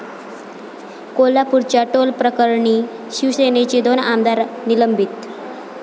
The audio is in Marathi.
कोल्हापूरच्या टोलप्रकरणी शिवसेनेचे दोन आमदार निलंबित